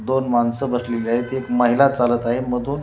दोन माणसे बसलेली आहेत एक महिला चालली आहे मधून--